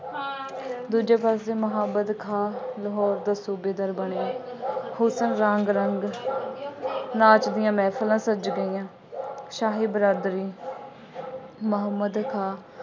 ਦੂਜੇ ਪਾਸੇ ਮੁਹੰਮਦ ਖਾਂ ਲਾਹੌਰ ਦਾ ਸੂਬੇਦਾਰ ਬਣ ਕੇ, ਹੁਸਨ, ਰਾਂਗ, ਰੰਗ, ਨਾਚ ਦੀਆਂ ਮਹਿਫਲਾਂ ਸੱਜ ਗਈਆਂ, ਸ਼ਾਹੀ ਬਰਾਦਰੀ ਮੁਹੰਮਦ ਖਾਂ